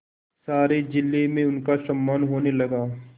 सारे जिले में उनका सम्मान होने लगा